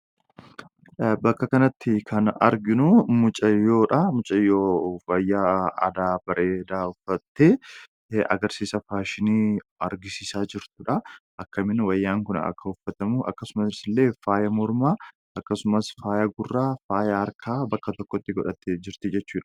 Bakka kanatti kan arginu, mucayyoodha. Mucayyoo wayaa aadaa bareedaa uffattee agarsiisa faashinii argisiisaa jirtudha. Akkamiin wayaan kun akkasumas faaya mormaa akkasumas faayaa gurraa faaya harkaa bakka tokkotti godhattee jirti jechuudha.